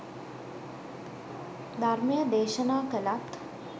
ධර්මය දේශනා කළත්